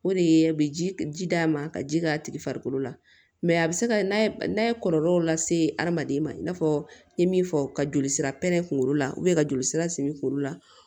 O de ye a bɛ ji d'a ma ka ji k'a tigi farikolo la a bɛ se ka n'a ye kɔlɔlɔw lase hadamaden ma i n'a fɔ n ye min fɔ ka joli sira pɛrɛn kunkolo la ka joli sira simi kunkolo la